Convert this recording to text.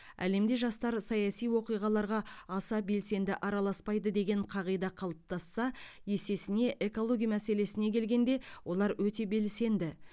әлемде жастар саяси оқиғаларға аса белсенді араласпайды деген қағида қалыптасса есесіне экология мәселесіне келгенде олар өте белсенді